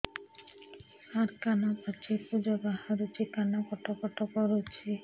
ସାର କାନ ପାଚି ପୂଜ ବାହାରୁଛି କାନ କଟ କଟ କରୁଛି